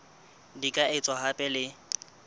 di ka etswa hape le